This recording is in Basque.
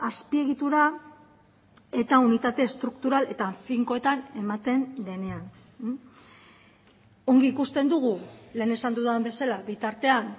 azpiegitura eta unitate estruktural eta finkoetan ematen denean ongi ikusten dugu lehen esan dudan bezala bitartean